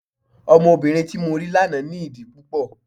Ọmọbìnrin tí mo rí lánàá ní ìdí púpọ̀.